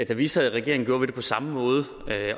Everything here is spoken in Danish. da vi sad i regering gjorde vi det på samme måde